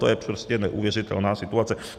To je prostě neuvěřitelná situace.